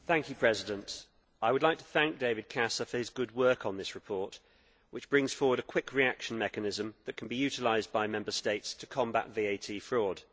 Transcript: Mr President, I would like to thank David Casa for his good work on this report which brings forward a quick reaction mechanism that can be utilised by Member States to combat VAT fraud.